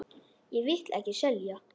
Ég vil ekki selja.